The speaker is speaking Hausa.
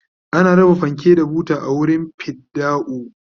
ana raba fanke da buta a wurin fidda'u